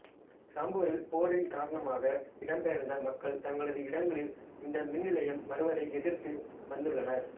சம்பூரில் போரின் காரணமாக இடம்பெயர்ந்த மக்கள் தங்களது இடங்களில் இந்த மின்நிலையம் வருவதை எதிர்த்து வந்துள்ளனர்